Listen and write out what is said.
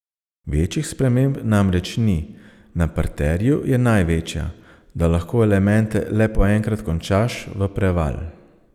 Večjih sprememb namreč ni, na parterju je največja, da lahko elemente le po enkrat končaš v preval.